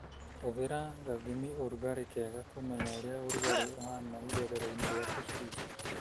Hũthĩra gathimi-ũrugarĩ kega kũmenya ũrĩa ũrugarĩ ũhana irerero-inĩ rĩa tũcui.